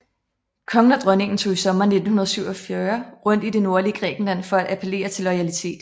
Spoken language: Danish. Kongen og dronningen tog i sommeren 1947 rundt i det nordlige Grækenland for at appellere til loyalitet